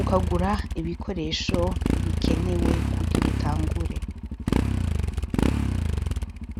ukagura ibikoresho bikenewe kug irutangura re.